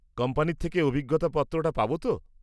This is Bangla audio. কোম্পানির থেকে অভিজ্ঞতা পত্রটা পাব তো?